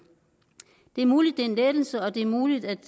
det er muligt at det er en lettelse og det er muligt at